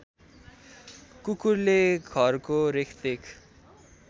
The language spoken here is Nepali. कुकुरले घरको रेखदेख